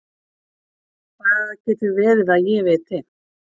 Það getur verið að ég viti.